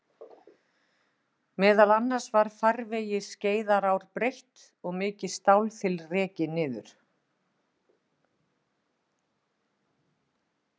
Meðal annars var farvegi Skeiðarár breytt og mikið stálþil rekið niður.